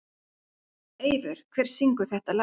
Eivör, hver syngur þetta lag?